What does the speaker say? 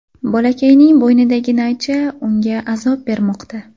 Bolakayning bo‘ynidagi naycha unga azob bermoqda.